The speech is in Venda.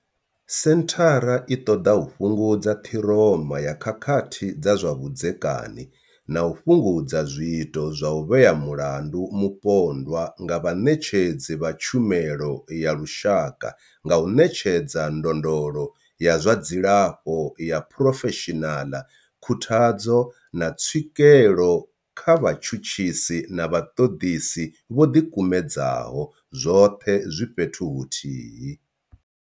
Senthara i ṱoḓa u fhungudza ṱhiroma ya khakhathi dza zwa vhudzekani na u fhungudza zwiito zwa u vhea mulandu mupondwa nga vhaṋetshedzi vha tshumelo ya lushaka nga u ṋetshedza ndondolo ya zwa dzilafho ya phurofeshinaḽa, khuthadzo, na tswikelo kha vhatshutshisi na vhaṱoḓisi vho ḓikumedzaho, zwoṱhe zwi fhethu huthihi.